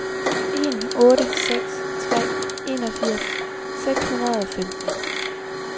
en otte seks tre enogfirs seks hundrede og femten